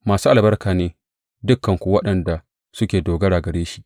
Masu albarka ne dukanku waɗanda suke dogara gare shi!